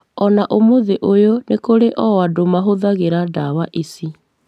Ona ũmũthĩ ũyũ nĩ kũrĩ o andũ mahũthagĩra ndawa ici,